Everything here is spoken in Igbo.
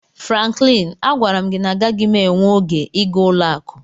Franklin, agwara m gị na agaghị m enwe oge ịga ụlọ akụ